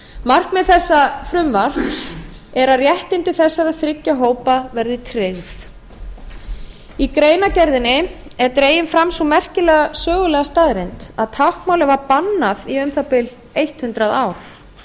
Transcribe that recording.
markmið þessa frumvarps er að réttindi þessara þriggja hópa verði tryggð í greinargerðinni er dregin fram sú merkilega sögulega staðreynd að táknmálið var bannað í um það bil hundrað ár